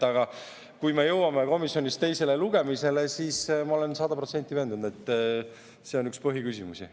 Aga kui me jõuame komisjonis teisele lugemisele, siis ma olen sada protsenti veendunud, et see on üks põhiküsimusi.